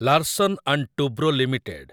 Larsen and Toubro limited